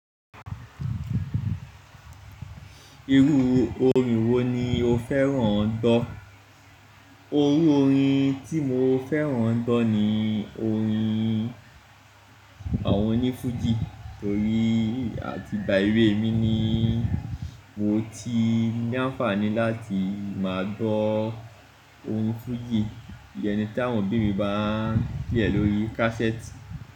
Irú orin wo ni o fẹ́ràn gbọ́? Orú orin tí mo fẹ́ràn gbọ́ ni orin àwọn onífújì torí àti gba ewé mi ni mo ti ní àǹfààní láti máa gbọ́ orín fújì. Ìyẹn tí àwọn òbí mi bá n play ẹ lórí kásẹ́ẹ̀tì.